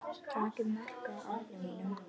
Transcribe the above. Takið mark á orðum mínum.